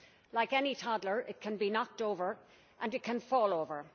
Like any toddler, it can be knocked over, and it can fall over.